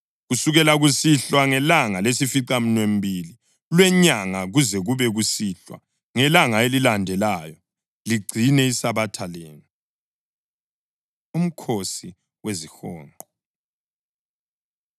Kusukela kusihlwa ngelanga lesificamunwemunye lwenyanga kuze kube kusihlwa ngelanga elilandelayo ligcine isabatha lenu.” UMkhosi WeziHonqo